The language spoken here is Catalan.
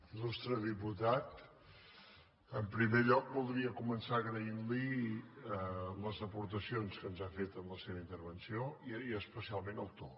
il·lustre diputat en primer lloc voldria començar agraint li les aportacions que ens ha fet en la seva intervenció i especialment el to